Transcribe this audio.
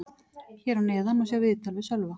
Hér að neðan má sjá viðtal við Sölva.